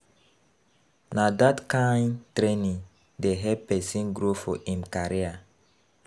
Na dat kain training dey help pesin grow for im career.